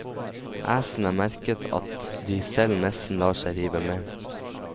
Æsene merker at de selv nesten lar seg rive med.